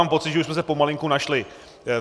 Mám pocit, že už jsme se pomalinku našli.